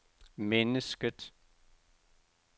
mennesket